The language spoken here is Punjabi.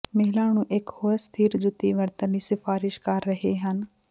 ਮਹਿਲਾ ਨੂੰ ਇੱਕ ਹੋਰ ਸਥਿਰ ਜੁੱਤੀ ਵਰਤਣ ਲਈ ਸਿਫਾਰਸ਼ ਕਰ ਰਹੇ ਹਨ